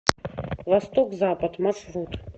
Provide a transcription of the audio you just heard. восток запад маршрут